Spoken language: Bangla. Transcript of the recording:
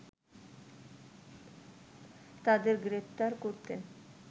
তাদের গ্রেফতার করতে